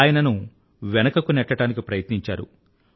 ఆయనను వెనకకు నెట్టడానికి ప్రయత్నించారు